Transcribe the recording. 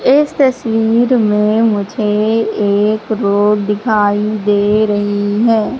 इस तस्वीर में मुझे एक रोड दिखाई दे रही है।